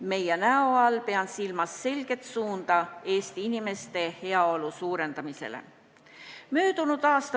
"Meie näo" all pean silmas selget suunda Eesti inimeste heaolu suurendamisele.